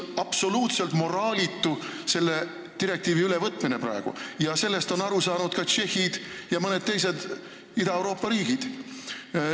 Selle direktiivi ülevõtmine praegu on absoluutselt moraalitu ning sellest on aru saanud tšehhid ja mõned teised Ida-Euroopa riigid.